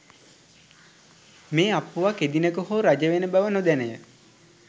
මේ අප්පුවා කෙදිනක හෝ රජවෙන බව නොදැනය.